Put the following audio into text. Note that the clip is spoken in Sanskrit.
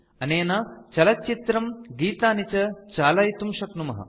अनेन चलच्चित्रम् गीतानि च चालयितुं शक्नुमः